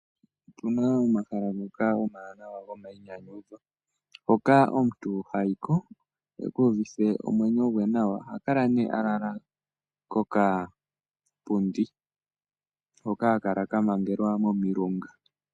Otuna omahala ngoka omawanaw ngoka omuntu hayiko okii uvithe omwenyo gwe nawa ohakala nee alala kokapundi hoka haka kala kamangelwa momilunga.